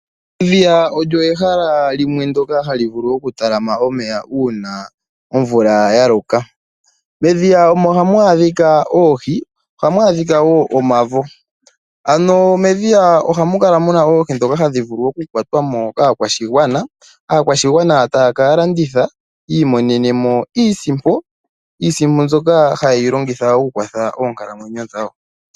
Edhiya olyo ehala limwe ndyoka hali vulu oku talama omeya uuna omvula yaloka. Medhiya omo hamu adhika oohi ohamu adhika wo omavo ano medhiya ohamu kala muna oohi dhoka hadhi vulu oku kwatwamo kaakwashigwana , aakwashigwana taakalanditha yiimonenemo iisimpo ,iisimpo mbyoka hayilongitha oku kwatha oonkalamwenyo dhawo.